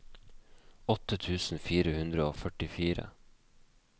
åtte tusen fire hundre og førtifire